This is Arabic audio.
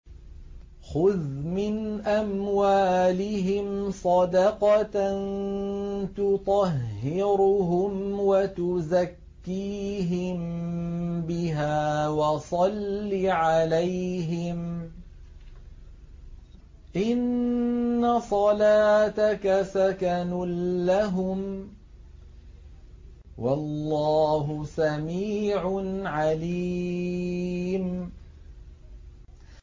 خُذْ مِنْ أَمْوَالِهِمْ صَدَقَةً تُطَهِّرُهُمْ وَتُزَكِّيهِم بِهَا وَصَلِّ عَلَيْهِمْ ۖ إِنَّ صَلَاتَكَ سَكَنٌ لَّهُمْ ۗ وَاللَّهُ سَمِيعٌ عَلِيمٌ